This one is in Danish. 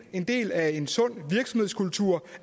en del af en sund virksomhedskultur